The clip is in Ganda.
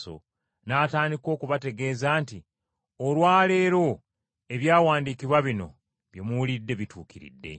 N’atandika okubategeeza nti, “Olwa leero, Ebyawandiikibwa bino bye muwulidde bituukiridde!”